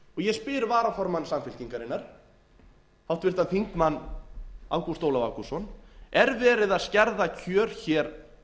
ég spyr varaformann samfylkingarinnar háttvirtir þingmenn ágúst ólaf ágústsson er verið að skerða kjör hér